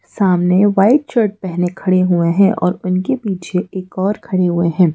सामने white shirt पहने खड़े हुए हैं और उनके पीछे एक और खड़े हुए हैं।